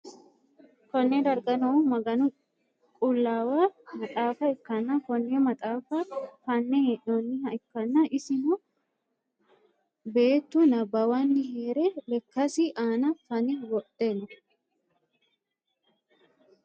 konne darga noohu maganu qullaawa maxaafa ikkanna, konne maxaafa fa'ne hee'noonniha ikkanna, isono beettu nabbawanni hee're lekkasi aana fa'ne wodhe no.